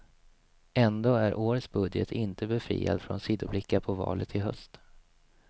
Ändå är årets budget inte befriad från sidoblickar på valet i höst.